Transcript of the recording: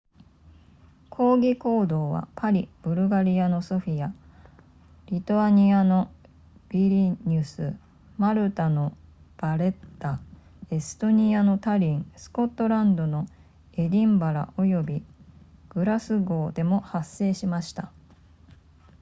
抗議行動はパリブルガリアのソフィアリトアニアのヴィリニュスマルタのヴァレッタエストニアのタリンスコットランドのエディンバラおよびグラスゴーでも発生しました